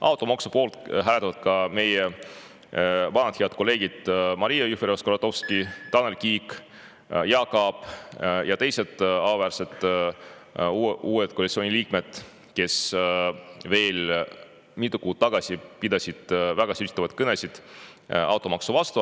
Automaksu poolt hääletavad ka meie vanad head kolleegid Maria Jufereva-Skuratovski, Tanel Kiik, Jaak Aab ja teised auväärsed uued koalitsiooni liikmed, kes veel mõni kuu tagasi pidasid väga sütitavaid kõnesid automaksu vastu.